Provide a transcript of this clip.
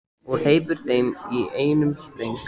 Og hleypur heim í einum spreng.